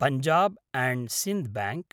Punjab and Sind bank